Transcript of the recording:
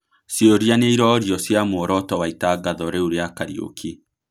Ciũria nĩĩrorio cia muoroto wa itagatho rĩu rĩa Kariuki